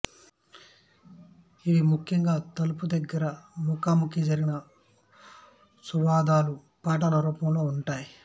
ఇవి ముఖ్యముగా తలుపు దగ్గర ముఖా ముఖి జరిగిన సంవాదాలు పాటల రూపంలో ఉంటాయి